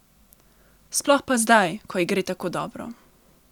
Sploh pa zdaj, ko ji gre tako dobro.